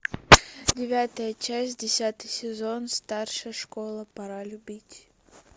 девятая часть десятый сезон старшая школа пора любить